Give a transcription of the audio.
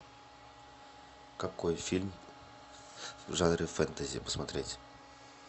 какой фильм в жанре фэнтези посмотреть